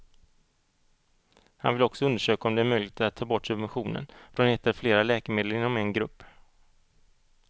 Han vill också undersöka om det är möjligt att ta bort subventionen från ett eller flera läkemedel inom en grupp.